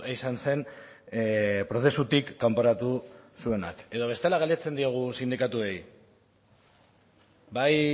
izan zen prozesutik kanporatu zuenak edo bestela galdetzen diegu sindikatuei bai